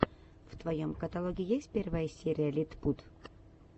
в твоем каталоге есть первая серия литпут